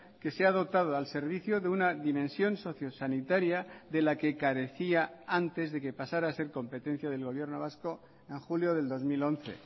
que se ha dotado al servicio de una dimensión socio sanitaria de la que carecía antes de que pasara a ser competencia del gobierno vasco en julio del dos mil once